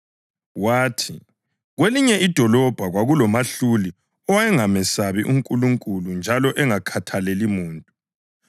Wathi, “Kwelinye idolobho kwakulomahluli owayengamesabi uNkulunkulu njalo engakhathaleli muntu.